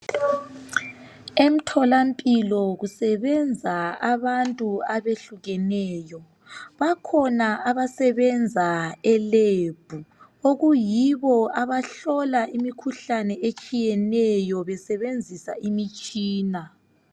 Emtholampilo kusebenza abantu abehlukeneyo. Bakhona abasebenza elebhu okuyibo abahlola imikhuhlane etshiyeneyo besebenzisa imitshina.